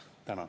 Tänan!